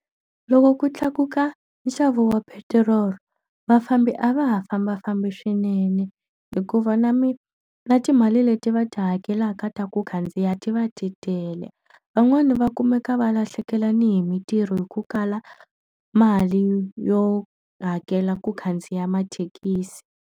Loko ku tlakuka nxavo wa petiroli, vafambi a va ha fambafambi swinene. Hikuva na na timali leti va ti hakelaka ta ku khandziya ti va ti tele. Van'wani va kumeka va lahlekela ni hi mintirho hi ku kala mali yo hakela ku khandziya mathekisi.